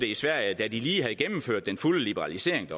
i sverige da de lige havde gennemført den fulde liberalisering